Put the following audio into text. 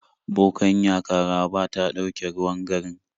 Bokanya Karaba ta dauke ruwan garin